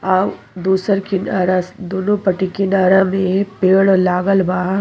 औ दूसर किनारास दुनो पटी किनारा में पेड़ लागल बा।